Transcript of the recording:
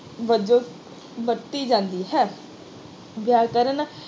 ਵਿਆਕਰਨ ਵਜੋਂ ਵਰਤੀ ਜਾਂਦੀ ਹੈ।